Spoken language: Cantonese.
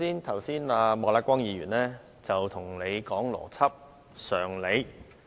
剛才莫乃光議員跟你說邏輯、常理。